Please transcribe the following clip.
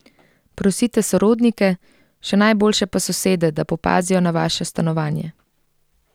Prosite sorodnike, še najboljše pa sosede, da popazijo na vaše stanovanje.